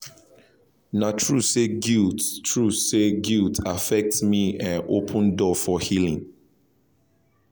na true say guilt true say guilt affect me en open door for healing